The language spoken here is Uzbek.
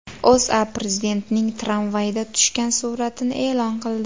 O‘zA Prezidentning tramvayda tushgan suratini e’lon qildi .